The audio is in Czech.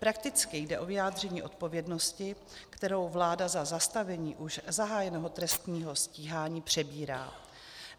Prakticky jde o vyjádření odpovědnosti, kterou vláda za zastavení už zahájeného trestního stíhání přebírá.